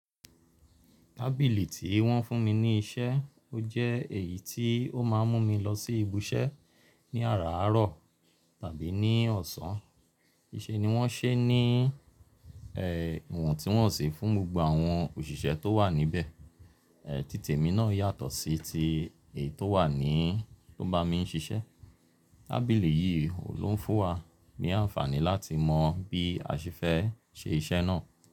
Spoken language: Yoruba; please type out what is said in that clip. Tábìlì tí wọ́n fún mi ní iṣẹ́, ó jẹ́ èyí tí ó máà ń mú mi lọ sí ibi iṣẹ́ ní àràárọ̀ tàbí ní ọ̀sán, ni ṣe ní wọ́n ṣe ní ẹ̀ iwọ́ntunwọ́nsi fún gbogbo àwọn òṣìṣẹ́ tó wà níbẹ̀. Ẹ̀ títè mi náà yàtọ̀ sí ti èyí tó wà ní tó bá mi ń ṣiṣẹ́. Tábìlì yìí oun ló ń fún wa ní àǹfààní láti mọ bí a ṣe fẹ́ ṣe iṣẹ́ náà.